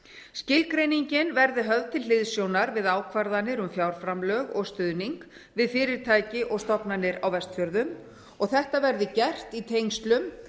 skilgreiningin verði höfð til hliðsjónar við ákvarðanir um fjárframlög og stuðning við fyrirtæki og stofnanir á vestfjörðum og þetta verði gert í tengslum